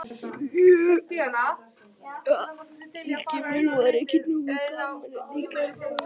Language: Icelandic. Jæja Helgi minn, var ekki nógu gaman hérna í gærkvöldi?